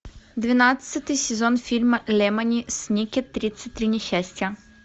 двенадцатый сезон фильма лемони сникет тридцать три несчастья